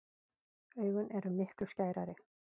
Augun eru miklu skærari.